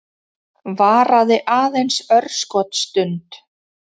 Varaði aðeins örskotsstund.